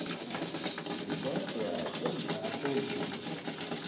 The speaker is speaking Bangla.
হ্যাঁ এইবার তো একদম ব্যাপক জিনিস আছে।